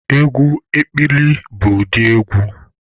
Egwu ekpili bụ ụdị egwu